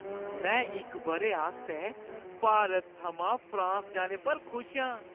में इक बʼरे आस्तै भारत थमां फ्रांस जाने पर खुश आं।